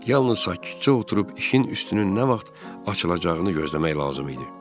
Yalnız sakitcə oturub işin üstünün nə vaxt açılacağını gözləmək lazım idi.